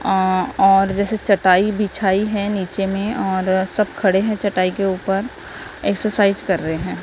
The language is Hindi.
अ और जैसी चटाई बिछाई है नीचे में और सब खड़े है चटाई के ऊपर एक्सरसाइज कर रहे है।